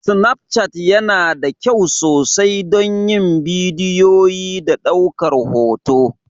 Snafchat yana da kyau sosai don yin bidiyo da ɗaukar hoto.